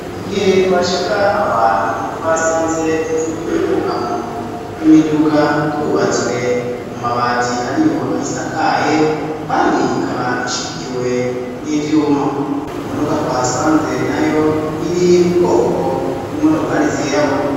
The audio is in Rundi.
Igihe twashika aho hantu twasanze inzu y'ubwugamo bw'imiduga yubatswe mu mabati ariyo ayisakaye kandi ikaba ishigikiwe n'ivyuma imodoka twahasanze nayo iri mu bwoko bw'imodokari z'irabura